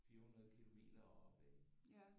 400 kilometer oppe ik